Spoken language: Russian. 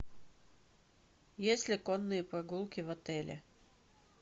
есть ли конные прогулки в отеле